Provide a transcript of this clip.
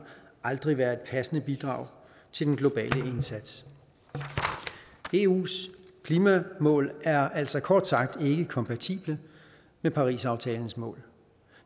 aldrig være et passende bidrag til den globale indsats eus klimamål er altså kort sagt ikke kompatible med parisaftalens mål